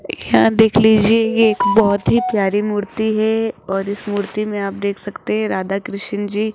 यहां देख लीजिए ये एक बहुत ही प्यारी मूर्ति है और इस मूर्ति में आप देख सकते हैं राधा कृष्ण जी --